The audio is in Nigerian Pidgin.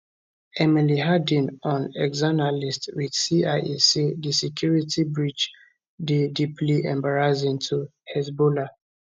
emily harding on exanalyst with cia say di security breach dey deeply embarrassing to hezbollah